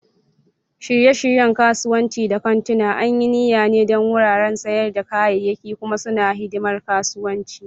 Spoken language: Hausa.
Shirye-shiryen kasuwanni da kantuna an yi niyya ne don wuraren sayar da kayayyaki, kuma suna hidimar kasuwanci.